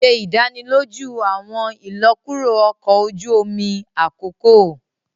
O ṣe idaniloju awọn ilọkuro ọkọ oju omi akoko